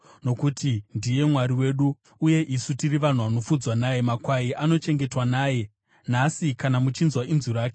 nokuti ndiye Mwari wedu, uye isu tiri vanhu vanofudzwa naye, makwai anochengetwa naye. Nhasi kana muchinzwa inzwi rake,